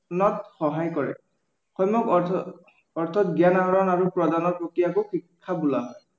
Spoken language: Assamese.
সহায় কৰে। অন্য় অৰ্থত জ্ঞান আহৰণ আৰু প্ৰদানৰ প্ৰক্ৰিয়াকো শিক্ষা বোলা হয়।